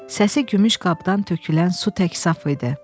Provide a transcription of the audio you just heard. Səsi gümüş qabdan tökülən su tək saf idi.